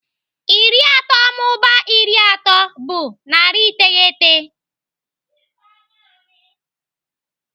Iri atọ mụbaa iri atọ bụ narị iteghete.